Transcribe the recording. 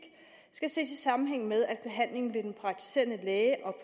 skal ses i sammenhæng med at behandling ved den praktiserende læge og